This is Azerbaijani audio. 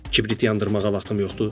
Kibrit yandırmağa vaxtım yoxdur.